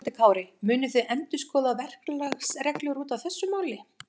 Höskuldur Kári: Munuð þið endurskoða verklagsreglur út af þessu máli?